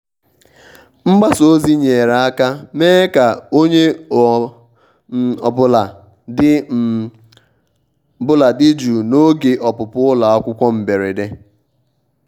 mgbasa ozi nyere aka mee ka onye ọ um bụla dị um bụla dị jụụ n'oge ọpụpụ ụlọ akwụkwọ mberede.